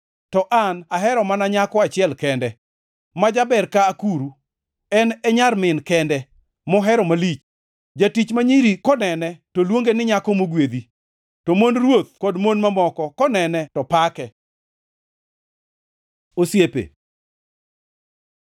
To an ahero mana nyako achiel kende, ma jaber ka akuru, en e nyar min kende, mohero malich. Jotich ma nyiri konene, to luonge ni nyako mogwedhi, to mond ruoth kod mon mamoko konene to pake. Osiepe